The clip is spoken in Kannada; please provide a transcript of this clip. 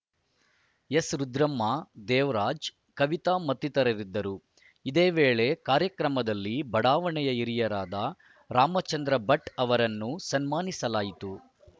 ಎಸ್‌ರುದ್ರಮ್ಮ ದೇವರಾಜ್‌ ಕವಿತಾ ಮತ್ತಿತರರಿದ್ದರು ಇದೇ ವೇಳೆ ಕಾರ್ಯಕ್ರಮದಲ್ಲಿ ಬಡಾವಣೆಯ ಹಿರಿಯರಾದ ರಾಮಚಂದ್ರಭಟ್‌ ಅವರನ್ನು ಸನ್ಮಾನಿಸಲಾಯಿತು